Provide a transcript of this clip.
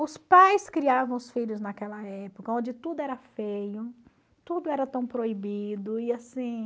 Os pais criavam os filhos naquela época, onde tudo era feio, tudo era tão proibido. E assim...